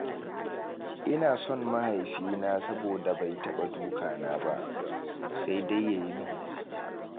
Ina son mahaifina saboda bai taɓa duka na ba, sai dai yayi min nasiha.